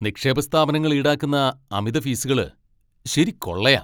നിക്ഷേപ സ്ഥാപനങ്ങൾ ഈടാക്കുന്ന അമിത ഫീസുകൾ ശരി കൊള്ളയാ.